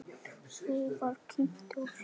Svo var kímt og hlegið.